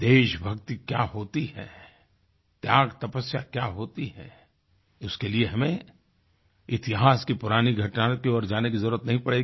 देशभक्ति क्या होती है त्यागतपस्या क्या होती है उसके लिए हमें इतिहास की पुरानी घटनाओं की ओर जाने की जरुरत नहीं पड़ेगी